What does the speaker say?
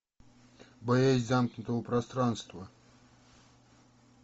боязнь замкнутого пространства